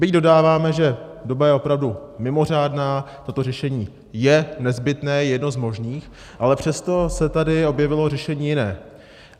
Byť dodáváme, že doba je opravdu mimořádná, toto řešení je nezbytné, je jedno z možných, ale přesto se tady objevilo řešení jiné.